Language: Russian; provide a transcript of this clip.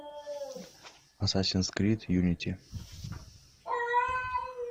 ассасин крид юнити